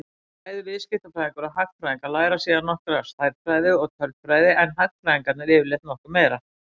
Bæði viðskiptafræðingar og hagfræðingar læra síðan nokkra stærðfræði og tölfræði en hagfræðingarnir yfirleitt nokkuð meira.